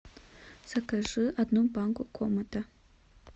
закажи одну банку комета